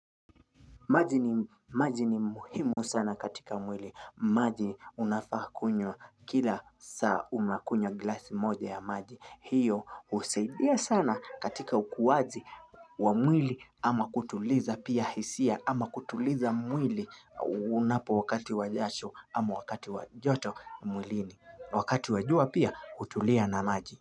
Maji ni muhimu sana katika mwili. Maji unafaa kunywa kila saa unakunywa glasi moja ya maji. Hiyo husaidia sana katika ukuwaji wa mwili ama kutuliza pia hisia ama kutuliza mwili unapo wakati wa jasho ama wakati wa joto mwilini. Wakati wa jua pia hutulia na maji.